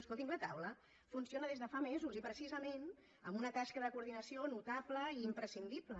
escoltin la taula funciona des de fa mesos i precisament amb una tasca de coordinació notable imprescindible